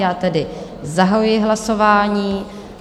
Já tedy zahajuji hlasování.